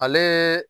Ale